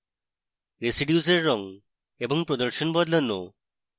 residues এর রঙ এবং প্রদর্শন বদলানো